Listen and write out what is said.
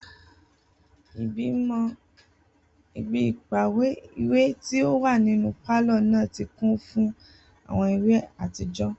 Ibi ipamọ iwe ti o wa ninu palọ naa ti kun fun awọn iwe atijọ